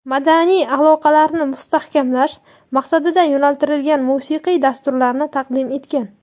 madaniy aloqalarni mustahkamlash maqsadiga yo‘naltirilgan musiqiy dasturlarni taqdim etgan.